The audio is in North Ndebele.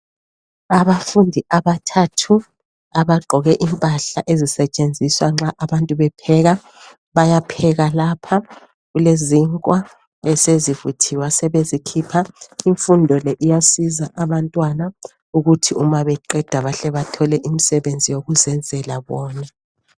Abafundi abathathu abagqoke impahla ezisetshenziswa nxa abantu bepheka, bayapheka lapha kulezinkwa esezivuthiwe asebezikhipha, imfundo le iyasiza abantwana ukuthi umabeqeda bahle bathole imisebenzi yokuzenzela bona.